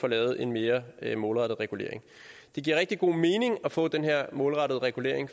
lavet en mere målrettet regulering det giver rigtig god mening at få den her målrettede regulering